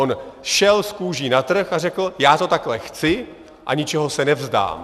On šel s kůží na trh a řekl: Já to takhle chci a ničeho se nevzdám.